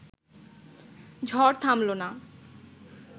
ঝড় থামল না